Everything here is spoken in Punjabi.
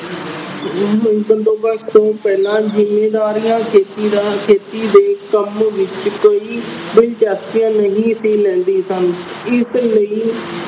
ਬੰਦੋਬਸਤ ਤੋਂ ਪਹਿਲਾਂ ਜ਼ਿੰਮੀਦਾਰੀਆਂ ਖੇਤੀ ਦਾ ਅਹ ਖੇਤੀ ਦੇ ਕੰਮ ਵਿੱਚ ਕੋਈ ਦਿਲਚਸਪੀ ਨਹੀਂ ਸੀ ਲੈਂਦੀਆਂ ਸਨ। ਇਸ ਲਈ